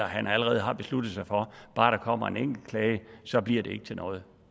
han allerede har besluttet sig for at bare der kommer en enkelt klage så bliver det ikke til noget